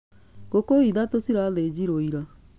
Ngũkũ ithatũ cirathĩnjirwo ira